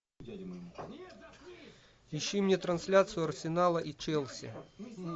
ищи мне трансляцию арсенала и челси